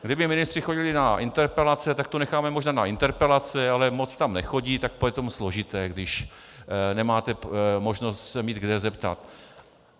Kdyby ministři chodili na interpelace, tak to necháme možná na interpelace, ale moc tam nechodí, tak to je potom složité, když nemáte možnost se mít kde zeptat.